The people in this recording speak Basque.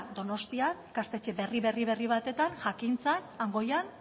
donostian ikastetxe berri batetan jakintzan han goian